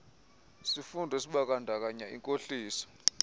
sifundo esibandakanya inkohliso